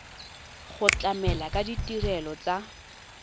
go tlamela ka ditirelo tsa